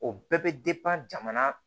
O bɛɛ bɛ jamana